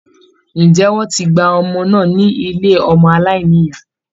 Ǹjẹ́ wọ́n ti gba ọmọ náà ní ilé ọmọ aláìnìyá?